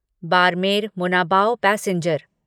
Barmer Munabao passenger